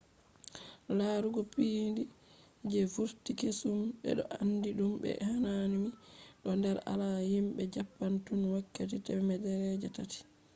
larugo piindi je vurti kesum be do andi dum be hanami do der alada himbe japan tun wakkati temere je taati